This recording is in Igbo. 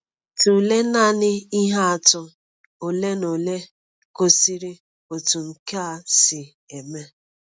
Tụlee nanị ihe atụ ole na ole gosiri otú nke a si eme.